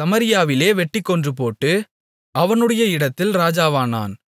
சமாரியாவில் வெட்டிக் கொன்றுபோட்டு அவனுடைய இடத்தில் ராஜாவானான்